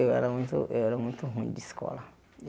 Eu era muito eu era muito ruim de escola.